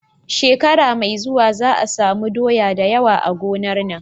Shekara me zuwa za a samu doya dayawa a gonar nan